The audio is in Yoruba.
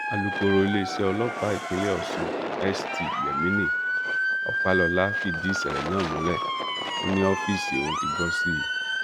àlùkòòró iléeṣẹ ọlọpàá ìpínlẹ ọṣún st yemini ọpàlọlá fìdí ìṣẹlẹ náà múlẹ ó ní ọfíìsì òun ti gbó sí i